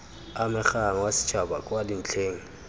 amegang wa setšhaba kwa dintlheng